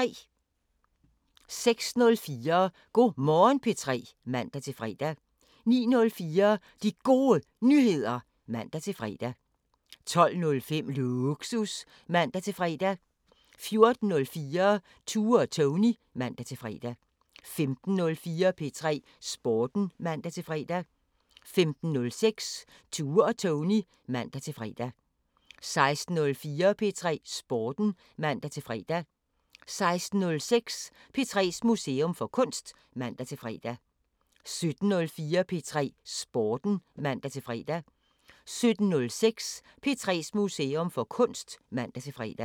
06:04: Go' Morgen P3 (man-fre) 09:04: De Gode Nyheder (man-fre) 12:05: Lågsus (man-fre) 14:04: Tue og Tony (man-fre) 15:04: P3 Sporten (man-fre) 15:06: Tue og Tony (man-fre) 16:04: P3 Sporten (man-fre) 16:06: P3s Museum for Kunst (man-fre) 17:04: P3 Sporten (man-fre) 17:06: P3s Museum for Kunst (man-fre)